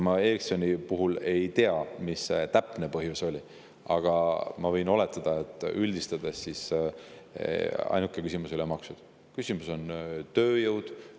Ma Ericssoni puhul ei tea, mis see täpne põhjus oli, aga ma võin oletada, et ainuke küsimus ei olnud maksud.